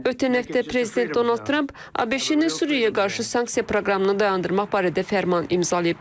Ötən həftə prezident Donald Tramp ABŞ-nin Suriyaya qarşı sanksiya proqramını dayandırmaq barədə fərman imzalayıb.